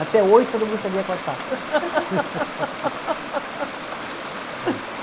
Até oito todo mundo sabia.